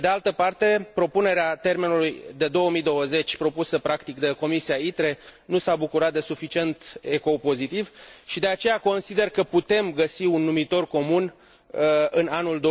Pe de altă parte, propunerea termenului de 2020, făcută practic de Comisia ITRE, nu s a bucurat de suficient ecou pozitiv și, de aceea, consider că putem găsi un numitor comun în anul